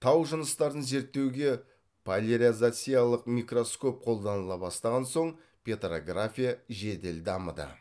тау жыныстарын зерттеуге поляризациялық микроскоп қолданыла бастаған соң петрография жедел дамыды